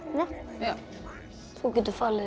já þú getur falið þig